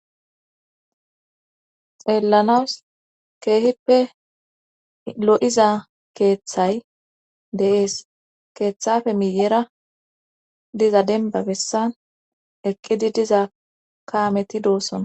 Xeellanawus keehippe lo7iza keeththay de7ees keeththafe miyera diza denba bessan eqqidi diza kaameti doossona.